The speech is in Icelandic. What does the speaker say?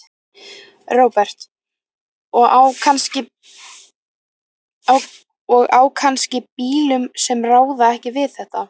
Róbert: Og á kannski bílum sem ráða ekki við þetta?